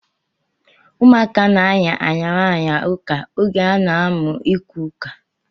Ụmụaka na-aya ayara aya ụka oge ha na-amụ ikwu ụka